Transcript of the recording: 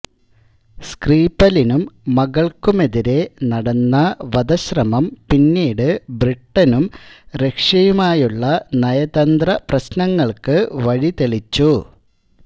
സ്ക്രീപലിനും മകൾക്കുമെതിരേ നടന്ന വധശ്രമം പിന്നീട് ബ്രിട്ടനും റഷ്യയുമായുള്ള നയതന്ത്രപ്രശനങ്ങൾക്ക് വഴിതെളിച്ചു